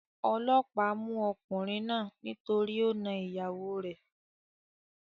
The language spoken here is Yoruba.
Olóòpá mú okùnrin náà nítorí o na ìyàwo rè